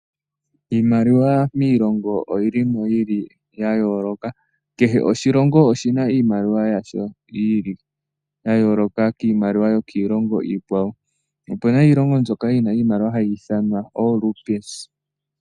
Iimaliwa miilongo oyili mo ya yooloka, kehe oshilongo oshina iimaliwa yasho yi ili ya yooloka kiimaliwa yo kiilongo iikwawo. Ope na iilongo mbyoka yi na iimaliwa hayi ithanwa ooRupees.